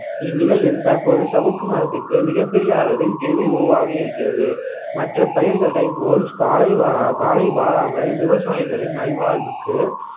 இந்நிலையில் தற்போது சவுக்கு மரத்துக்கு மிகப்பெரிய அளவில் தேவை உருவாகி இருக்கிறது மற்ற பயிர்களை போல் காலை வா~ காலை வாராமல் விவசாயிகளின் நல்வாழ்வுக்கு